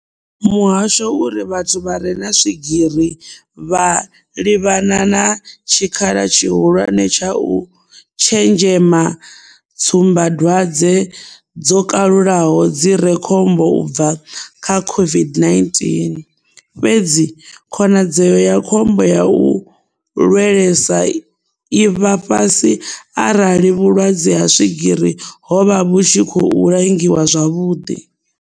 Muhasho uri vhathu vha re na swigiri vha livhana na tshikhala tshihulwane tsha u tshenzhema tsumbadwadze dzo kalulaho dzi re khombo u bva kha COVID-19, fhedzi khonadzeo ya khombo ya u lwelesa i vha fhasi arali vhulwadze ha swigiri havho vhu tshi khou langiwa zwavhuḓi.